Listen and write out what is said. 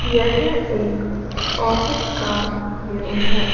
यह एक ऑफिस का व्यू है।